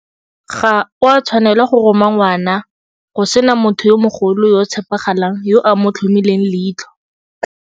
Ga o a tshwanela go roma ngwana go sena motho yo mogolo yo o tshepagalang yo a mo tlhomileng leitlho.